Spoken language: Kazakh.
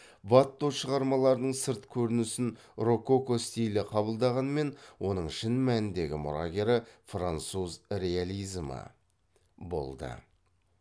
ватто шығармаларының сырт көрінісін рококо стилі қабылдағанмен оның шын мәніндегі мұрагері француз реализмі болды